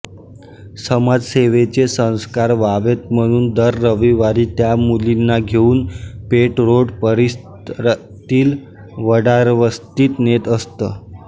समाजसेवेचे संस्कार व्हावेत म्हणून दर रविवारी त्या मुलींना घेऊन पेठ रोड परिसरातील वडारवस्तीत नेत असत